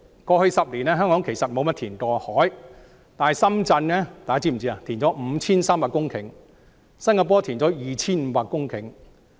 過去10年，香港沒有怎樣填海，但大家是否知悉，深圳已填海 5,300 公頃，新加坡已填海 2,500 公頃。